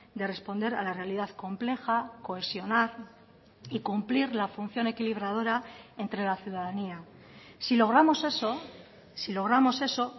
de responder a la realidad compleja cohesionar y cumplir la función equilibradora entre la ciudadanía si logramos eso si logramos eso